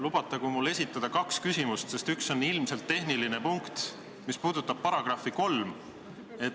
Lubatagu mul esitada kaks küsimust, sest üks on ilmselt tehniline punkt, mis puudutab § 3.